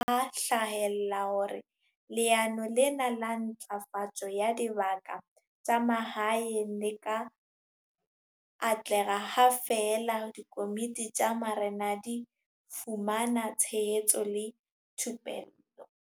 Puisanong ya rona Pala menteng ya Marena, ho ile ha hlahella hore leano lena la Ntlafatso ya Dibaka tsa Mahaeng le ka atleha ha feela dikomiti tsa marena di fumana tshehetso le thupello.